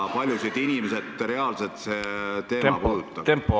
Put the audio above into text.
Kui paljusid inimesi reaalselt see teema puudutab?